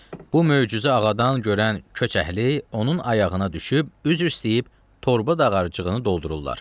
Bu möcüzə ağadan görən köç əhli onun ayağına düşüb, üzr istəyib torba dağarcığını doldururlar.